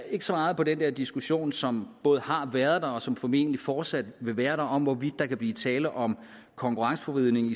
ikke så meget på den diskussion som både har været der og som formentlig fortsat vil være der om hvorvidt der kan blive tale om konkurrenceforvridning